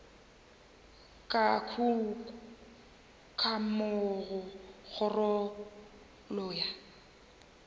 ka kukamo go kgorokgolo ya